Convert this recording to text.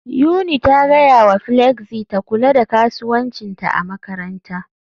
Yuni ta gaya wa Flexy ta kula da kasuwancinta a makaranta